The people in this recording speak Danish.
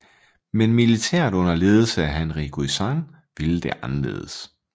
Men militæret under ledelse af Henri Guisan ville det anderledes